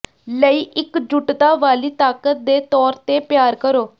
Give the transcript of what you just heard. ਲਈ ਇਕਜੁਟਤਾ ਵਾਲੀ ਤਾਕਤ ਦੇ ਤੌਰ ਤੇ ਪਿਆਰ ਕਰੋ